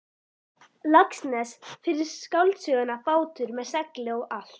Laxness fyrir skáldsöguna Bátur með segli og allt.